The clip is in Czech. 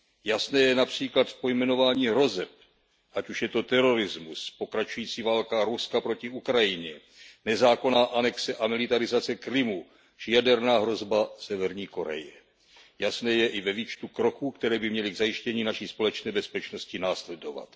Jasné je například pojmenování hrozeb, ať už je to terorismus, pokračující válka Ruska proti Ukrajině, nezákonná anexe a militarizace Krymu či jaderné hrozba Severní Koreje. Jasné je i ve výčtu kroků, které by měly k zajištění naší společné bezpečnosti následovat.